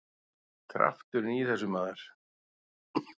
Krafturinn í þessu, maður!